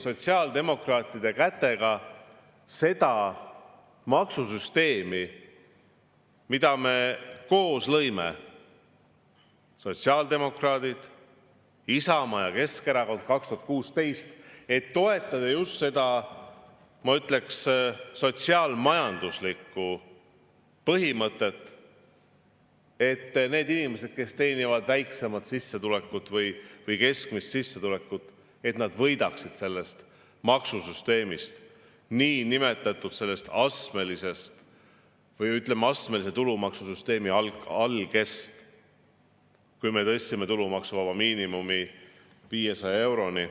Sotsiaaldemokraatide kätega minnakse seda maksusüsteemi, mille me koos – sotsiaaldemokraadid, Isamaa ja Keskerakond – 2016. aastal lõime, et toetada just seda sotsiaal-majanduslikku põhimõtet, et need inimesed, kes teenivad väiksemat või keskmist sissetulekut, võidaksid sellest maksusüsteemist, sellest niinimetatud astmelisest või, ütleme, astmelise tulumaksusüsteemi algest, kui me tõstsime tulumaksuvaba miinimumi 500 euroni.